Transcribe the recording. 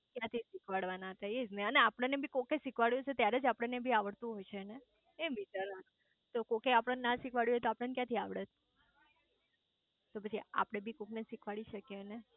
ક્યાંથી શીખવાડવા હતા એજ ને અને આપણે બી કોકે શીખવાડ્યું હશે ત્યારે જ આપણ ને બી આવડતું હશે ને એમ વિચારવાનું તો કોકે આપણ ને ના શીખવાડ્યું હોય તો આપણે ક્યાંથી આવડત તો પછી આપડે બી કોક ને શીખવાડી શકીયે ને